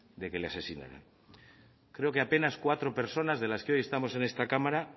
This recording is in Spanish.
de que le asesinaran creo que apenas cuatro personas de las que hoy estamos en esta cámara